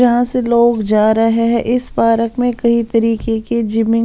जहां से लोग जा रहे हैं इस पार्क में कई रीके की --